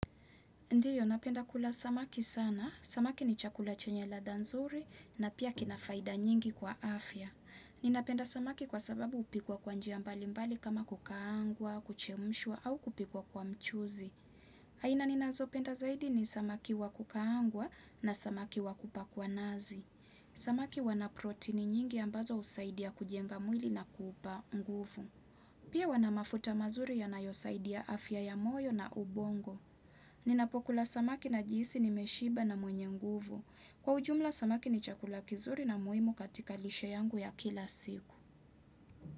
Ndiyo, ninapenda kula samaki sana. Samaki ni chakula chenye ladha nzuri na pia kinafaida nyingi kwa afya. Ninapenda samaki kwa sababu hupikwa kwanjia mbali mbali kama kukaangwa, kuchemshwa au kupikwa kwa mchuzi. Aina ninazo penda zaidi ni samaki wakukaangwa na samaki wakupakwa nazi. Samaki wana protein nyingi ambazo husaidia kujenga mwili na kuupa nguvu. Pia wanamafuta mazuri yanayosaidia afya ya moyo na ubongo. Ninapokula samaki na jihisi ni meshiba na mwenye nguvu Kwa ujumla samaki ni chakula kizuri na muhimu katika lishe yangu ya kila siku.